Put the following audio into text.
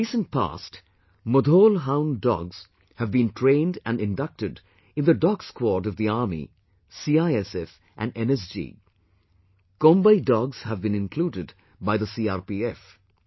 In the recent past, Mudhol Hound dogs have been trained and inducted in the dog squad of the Army, CISF and NSG; Kombai dogs have been included by the CRPF